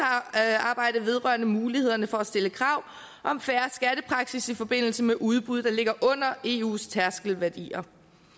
vil vedrørende mulighederne for at stille krav om fair skattepraksis i forbindelse med udbud der ligger under eus tærskelværdier